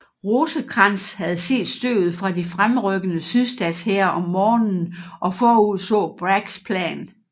Rosecrans havde set støvet fra de fremrykkende sydstatshære om morgenen og forudså Braggs plan